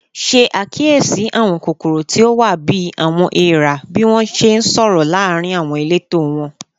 Ṣe akiyesi awọn kokoro ti o wa bi "awọn eera" bi wọn ṣe nsọrọ laarin awọn ileto wọn